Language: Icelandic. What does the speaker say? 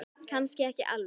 Kannski ekki alveg.